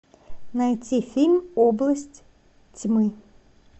найти фильм область тьмы